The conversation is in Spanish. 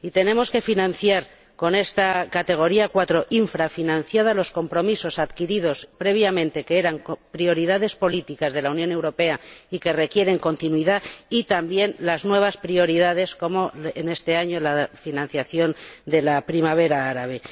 Y tenemos que financiar con esta rúbrica 4 infrafinanciada los compromisos adquiridos previamente, que eran prioridades políticas de la Unión Europea y que requieren continuidad, y también las nuevas prioridades como, en este año, la financiación de la primavera árabe.